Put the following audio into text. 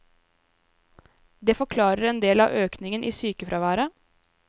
Det forklarer endel av økningen i sykefraværet.